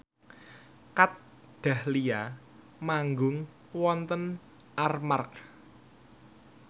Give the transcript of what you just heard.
Kat Dahlia manggung wonten Armargh